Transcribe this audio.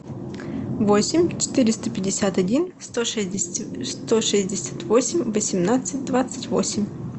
восемь четыреста пятьдесят один сто сто шестьдесят восемь восемнадцать двадцать восемь